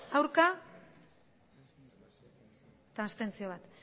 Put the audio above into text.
aurkako botoak abstentzioa